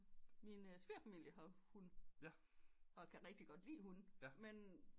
Min svigerfamilie har hund og kan rigtig godt lige hunde men